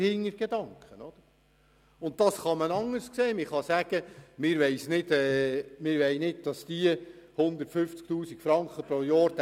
Wir wollen nicht, dass dies den Kanton jährlich 150 000 Franken kostet.